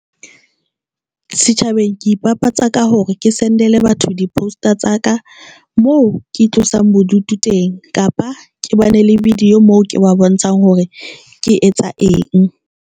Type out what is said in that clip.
Setjhabeng, ke ipapatsa ka hore ke sendele batho di-poster tsa ka moo ke tlosang bodutu teng, kapa ke bana le video moo ke ba bontshang hore ke etsa eng.